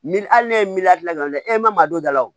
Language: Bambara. Ni hali ne ye miliyɔn gilan ole e ma don da la wo